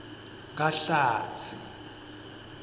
kahlatsi